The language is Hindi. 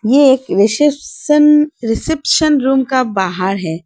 ये एक रिसेप्शन रिसेप्शन रूम का बाहर है।